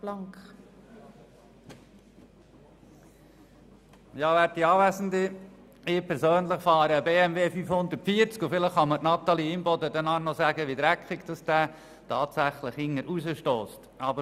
Ich fahre einen BMW 540, und vielleicht kann mir Natalie Imboden nachher noch sagen, wie dreckig sein Ausstoss ist.